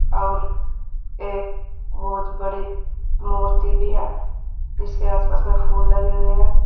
और एक बहोत बड़ी मूर्ति भी है जिसके आस पास में फूल लगे हुए हैं।